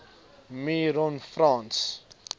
me ron frans